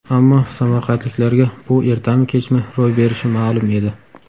Ammo samarqandliklarga bu ertami-kechmi ro‘y berishi ma’lum edi.